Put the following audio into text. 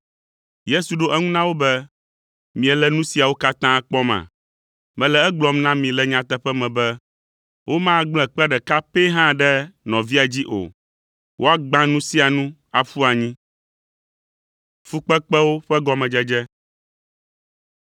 Yesu ɖo eŋu na wo be, “Miele nu siawo katã kpɔma? Mele egblɔm na mi le nyateƒe me be womagblẽ kpe ɖeka pɛ hã ɖe nɔvia dzi o; woagbã nu sia nu aƒu anyi.”